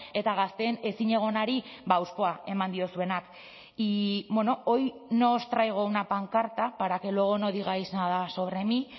eta gazteen ezinegonari hauspoa eman diozuenak y hoy nos traigo una pancarta para que luego no digáis nada sobre mí